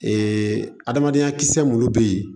adamadenya kisɛ minnu bɛ yen